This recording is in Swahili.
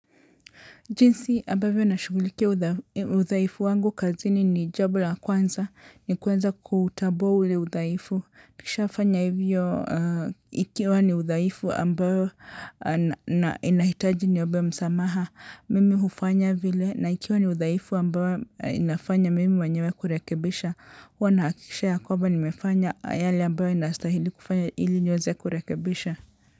Jinsi, ambavyo nashugulikia udhaifu wangu kazini ni jambo la kwanza, ni kwanza kutambua ule udhaifu. Nikishafanya hivyo, ikiwa ni udhaifu ambayo inahitaji niombe msamaha, mimi hufanya vile. Na ikiwa ni udhaifu ambayo inafanya mimi mwenyewe kurekebisha, huwa nahakikisha ya kwamba nimefanya yale ambayo inastahili kufanya ili niweze kurekebisha.